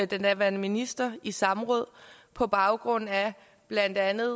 den daværende minister i samråd på baggrund af blandt andet